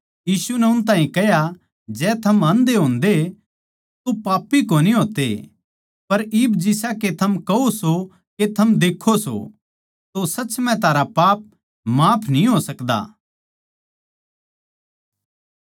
यीशु नै उन ताहीं कह्या जै थम आन्धे होन्दे तो पापी कोनी होते पर इब जिसा के थम कहो सो के थम देक्खों सों तो सच म्ह थारा पाप माफ न्ही हो सकदे